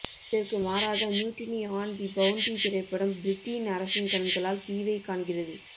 இதற்கு மாறாக mutiny on the bounty திரைப்படம் பிரிட்டீன் அரசின் கண்களால் தீவைக் காணுகிறது